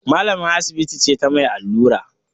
Malamar asibiti ce ta mai allura